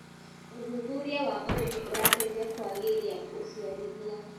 Ũthũthũrĩa wa ũrĩmĩ ũrateĩthĩa kũagĩrĩa ũcĩarĩthĩa